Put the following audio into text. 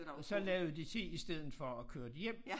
Og så lavede de te i stedet for og kørte hjem